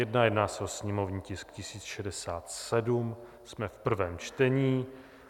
Jedná se o sněmovní tisk 1067, jsme v prvém čtení.